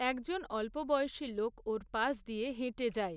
একজন অল্পবয়সী লোক ওর পাশ দিয়ে হেঁটে যায়।